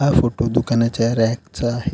हा फोटो दुकानाच्या रॅक चा आहे.